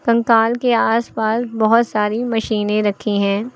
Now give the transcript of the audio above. कंकाल के आसपास बहुत सारी मशीनें रखी हैं।